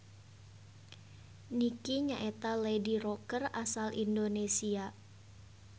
Nicky nyaeta lady rocker asal Indonesia.